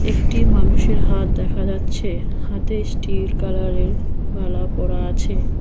একটি মানুষের হাত দেখা যাচ্ছে হাতে স্টিল কালারের বালা পড়া আছে।